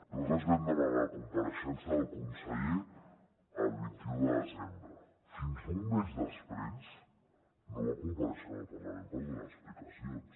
nosaltres vam demanar la compareixença del conseller el vint un de desembre fins a un mes després no va comparèixer en el parlament per donar explicacions